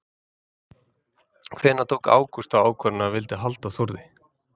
Hvenær tók Ágúst þá ákvörðun að hann vildi halda Þórði?